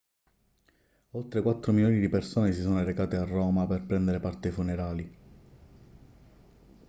oltre quattro milioni di persone si sono recate a roma per prendere parte ai funerali